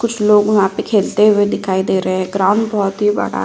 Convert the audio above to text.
कुछ लोग वहाँ पे खेलते हुए दिखाई दे रहे हैं। ग्राउंड बहोत ही बड़ा --